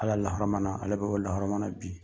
Ala lahɔrɔma na , ale be o lahɔrɔma na bi.